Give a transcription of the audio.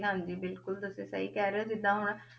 ਹਾਂਜੀ ਬਿਲਕੁਲ ਤੁਸੀਂ ਸਹੀ ਕਹਿ ਰਹੇ ਹੋ ਜਿੱਦਾਂ ਹੁਣ